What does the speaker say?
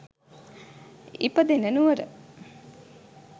ඉපදෙන නුවර